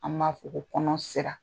An b'a fɔ ko kɔnɔ sera.